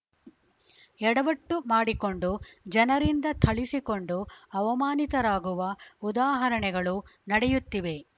ಎಡವಟ್ಟುಮಾಡಿಕೊಂಡು ಜನರಿಂದ ಥಳಿಸಿಕೊಂಡು ಅವಮಾನಿತರಾಗುವ ಉದಾಹರಣೆಗಳು ನಡೆಯುತ್ತಿವೆ